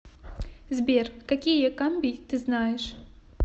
сбер какие камбий ты знаешь